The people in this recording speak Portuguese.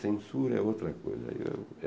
Censura é outra coisa. Ai é